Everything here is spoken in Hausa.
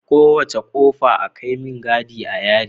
Kowace kofa Akai me gadi a yari